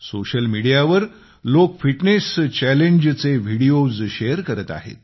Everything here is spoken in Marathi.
सोशल मीडिया वर लोक फिटनेस चॅलेंज चे व्हिडीओज् शेअर करत आहेत